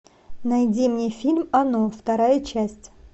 найди мне фильм оно вторая часть